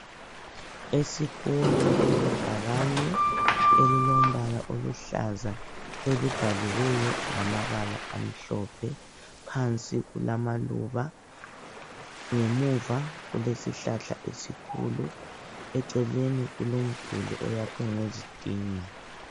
Esikolo kulebhakane elilombala oluhlaza elibhaliweyo ngamabala amhlophe, phansi kulamaluba ngemuva kulesihlahla esikhulu eceleni kulomduli oyakhwe ngezitina.